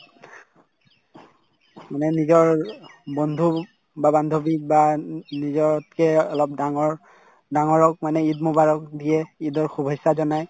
মানে নিজৰ বন্ধুক বা বান্ধৱীক বা উম নিজতকে অলপ ডাঙৰ ডাঙৰক মানে ঈদ মোবাৰক দিয়ে ঈদৰ শুভেছা জনাই